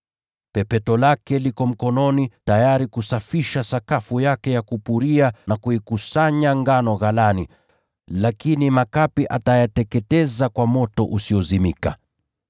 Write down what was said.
Pepeto lake liko mkononi mwake, naye atasafisha sakafu yake ya kupuria, na kuikusanya ngano ghalani na kuyateketeza makapi kwa moto usiozimika.”